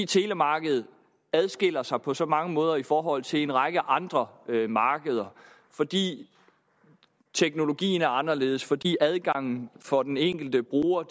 telemarkedet adskiller sig netop på så mange måder i forhold til en række andre markeder fordi teknologien er anderledes fordi adgangen til for den enkelte bruger